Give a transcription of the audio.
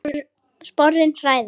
Sporin hræða.